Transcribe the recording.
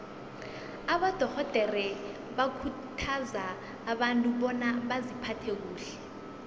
abadorhodere bakhuthaza abantu bona baziphathe kuhle